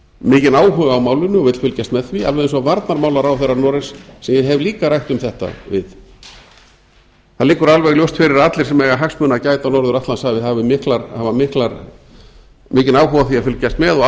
mikinn áhuga á málinu og vill fylgjast með því alveg eins og varnarmálaráðherra noregs sem ég hef líka rætt um þetta við það liggur alveg ljóst fyrir að allir sem eiga hagsmuna að gæta á norður atlantshafi hafa mikinn áhuga á því að fylgjast með og